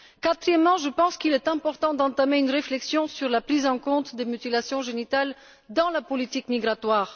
Quatrièmement, je pense qu'il est important d'entamer une réflexion sur la prise en compte des mutilations génitales dans la politique migratoire.